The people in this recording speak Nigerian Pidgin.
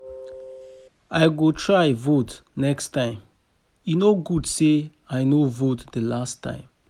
I go try vote next time, e no good say I no vote the last time